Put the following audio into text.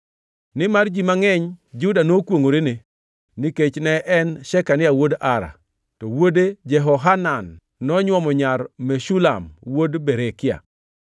Nimar ji mangʼeny Juda nokwongʼorene, nikech ne en or Shekania wuod Ara, to wuode Jehohanan nonywomo nyar Meshulam wuod Berekia.